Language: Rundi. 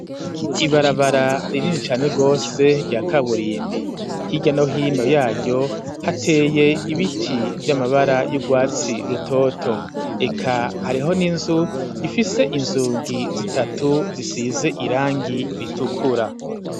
Ibarabara, ririni cane rwose, rya kaburimbi ,hirya no hino yayo, hateye ibiti vy'amabara y'urwatsi rutoto ,eka hariho n'inzu ifise inzugi zitatu ,zisize irangi ritukura.